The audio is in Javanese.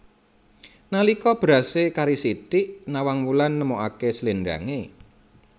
Nalika berasé kari sithik Nawang Wulan nemokaké sléndangé